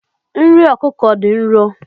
Nri ọkụkọ dị nro.